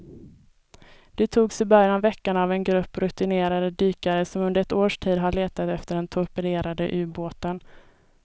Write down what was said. De togs i början av veckan av en grupp rutinerade dykare som under ett års tid har letat efter den torpederade ubåten.